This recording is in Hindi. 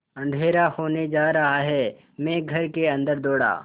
अँधेरा होने जा रहा है मैं घर के अन्दर दौड़ा